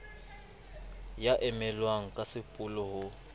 ya emellwang ka sepolo ho